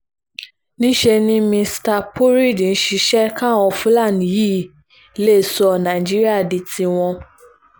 níṣẹ́ ni mista purried ń ṣiṣẹ́ káwọn fúlàní yìí lè sọ nàìjíríà di tiwọn